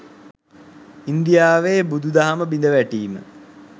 ඉන්දියාවේ බුදු දහම බිඳවැටීම